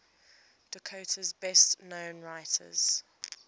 dakota's best known writers